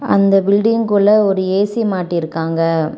அந்த பில்டிங்க்குள்ள ஒரு ஏசி மாட்டிருக்காங்க.